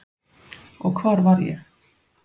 Og hvar var ég?